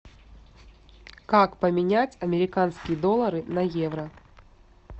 как поменять американские доллары на евро